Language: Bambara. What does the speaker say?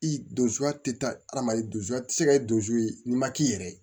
I don ya tɛ taa adamaden dusu a tɛ se ka kɛ don ye n'i ma k'i yɛrɛ ye